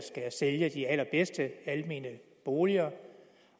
sælge de allerbedste almene boliger